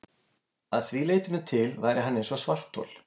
Að því leytinu til væri hann eins og svarthol.